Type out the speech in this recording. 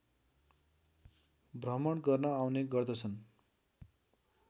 भ्रमण गर्न आउने गर्दछन्